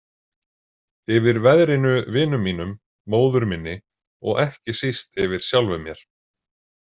Yfir veðrinu, vinum mínum, móður minni og ekki síst yfir sjálfum mér.